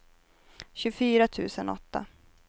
tjugofyra tusen åtta